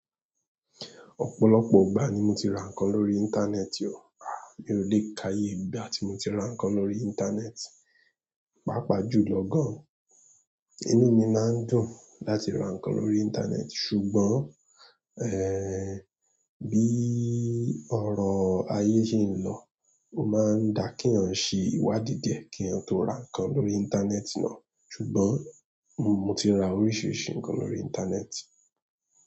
Ọ̀pọ̀lọpọ̀ ìgbà ni mo ti ra nǹkan lórí íńtánẹ́ẹ̀tì o. Mio le ka iye ìgbà ti konti r nkan lórí internet, paapa jùlọ gan inú mi máa ń dùn láti ra nǹkan lórí íńtánẹ́ẹ̀tì, ṣùgbọ́n, bí orọ ayé se ń lọ, ó máa ń da kí èèyàn ṣe iwádìí díẹ̀ kí èèyàn tó ra nǹkan lórí íńtánẹ́ẹ̀tì náà, ṣùgbọ́n mo ti ra oríṣiríṣi nǹkan lórí íńtánẹ́ẹ̀tì.